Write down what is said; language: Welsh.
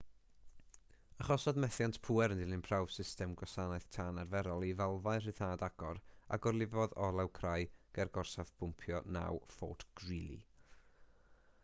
achosodd methiant pŵer yn dilyn prawf system gwasanaeth tân arferol i falfau rhyddhad agor a gorlifodd olew crai ger gorsaf bwmpio 9 fort greely